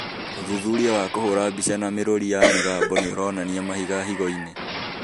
ũthuthuria wa kũhũra mbica na mĩrũri ya mĩgambo nĩũronania mahiga higo-inĩ